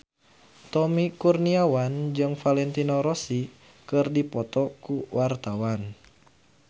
Tommy Kurniawan jeung Valentino Rossi keur dipoto ku wartawan